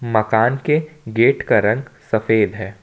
मकान के गेट का रंग सफेद है।